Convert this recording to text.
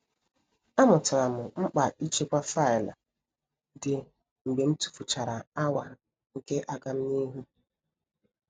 A mụtara m mkpa ịchekwa faịlụ dị mgbe m tufuchara awa nke agamnihu.